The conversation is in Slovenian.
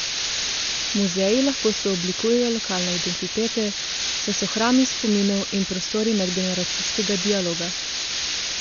Muzeji lahko sooblikujejo lokalne identitete, saj so hrami spominov in prostori medgeneracijskega dialoga.